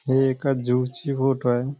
हे एका झू ची फोटो आहे.